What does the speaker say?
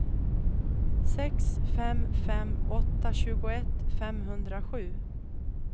sex fem fem åtta tjugoett femhundrasju